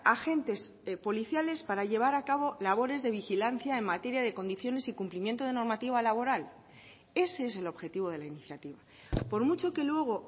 agentes policiales para llevar a cabo labores de vigilancia en materia de condiciones y cumplimiento de normativa laboral ese es el objetivo de la iniciativa por mucho que luego